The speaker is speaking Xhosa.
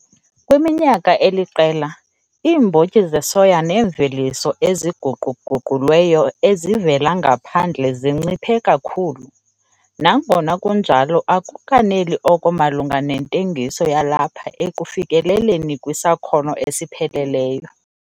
Kwiminyaka eliqela, iimbotyi zesoya neemveliso eziguqu-guqulweyo ezivela ngaphandle zinciphe kakhulu, nangona kunjalo akukaneli oko malunga nentengiso yalapha ekufikeleleni kwisakhono esipheleleyo.